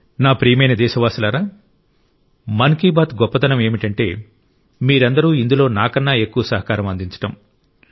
నా ప్రియమైన దేశవాసులారా మన్ కీ బాత్ గొప్పదనం ఏమిటంటే మీరందరూ ఇందులో నాకన్నా ఎక్కువ సహకారం అందించడం